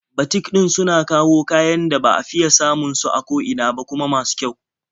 Batik ɗin suna kawo kayan da ba fiya samun su a ko ina ba, kuma masu kyau.